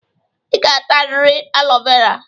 Ị ga-atarịrị alo vera.